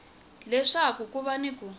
leswaku ku va ni ku